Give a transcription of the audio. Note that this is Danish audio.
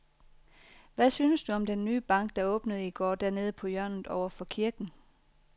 Hvad synes du om den nye bank, der åbnede i går dernede på hjørnet over for kirken?